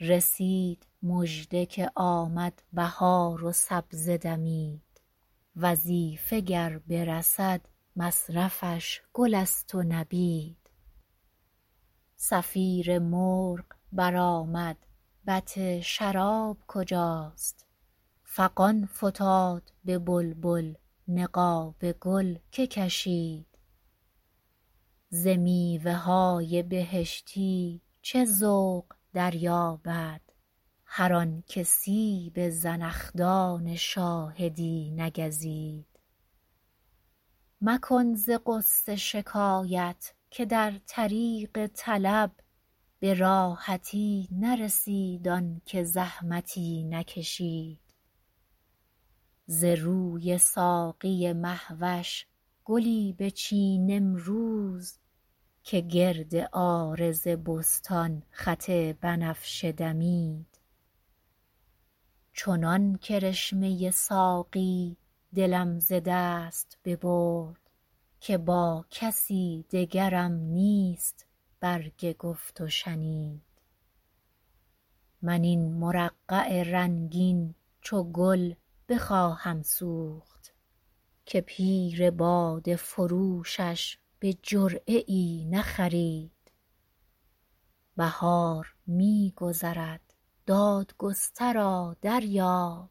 رسید مژده که آمد بهار و سبزه دمید وظیفه گر برسد مصرفش گل است و نبید صفیر مرغ برآمد بط شراب کجاست فغان فتاد به بلبل نقاب گل که کشید ز میوه های بهشتی چه ذوق دریابد هر آن که سیب زنخدان شاهدی نگزید مکن ز غصه شکایت که در طریق طلب به راحتی نرسید آن که زحمتی نکشید ز روی ساقی مه وش گلی بچین امروز که گرد عارض بستان خط بنفشه دمید چنان کرشمه ساقی دلم ز دست ببرد که با کسی دگرم نیست برگ گفت و شنید من این مرقع رنگین چو گل بخواهم سوخت که پیر باده فروشش به جرعه ای نخرید بهار می گذرد دادگسترا دریاب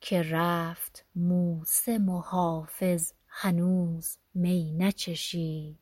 که رفت موسم و حافظ هنوز می نچشید